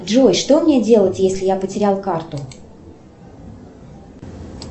джой что мне делать если я потерял карту